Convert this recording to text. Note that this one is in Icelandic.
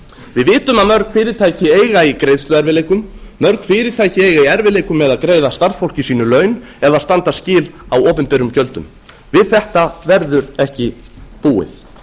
við vitum að mörg fyrirtæki eiga í greiðsluerfiðleikum mörg fyrirtæki eiga í erfiðleikum með að greiða starfsfólki sínu laun eða standa skil á opinberum gjöldum við þetta verður ekki búið